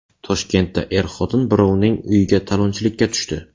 Toshkentda er-xotin birovning uyiga talonchilikka tushdi.